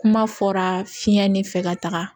Kuma fɔra fiɲɛ ne fɛ ka taga